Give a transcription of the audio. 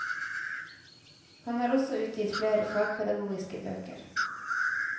Han har også utgitt flere fagpedagogiske bøker.